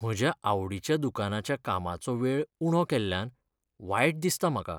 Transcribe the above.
म्हज्या आवडीच्या दुकानाच्या कामाचो वेळ उणो केल्ल्यान वायट दिसता म्हाका.